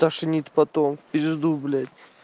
тошнит потом в пизду блять